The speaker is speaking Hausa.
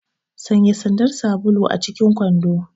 Sanya sandar sabulu acikin kwando!